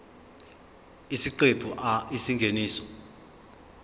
isiqephu a isingeniso